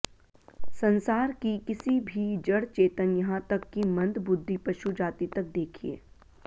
संसार की किसी भी जड़ चेतन यहां तक कि मंद बुद्धि पशु जाति तक देखिए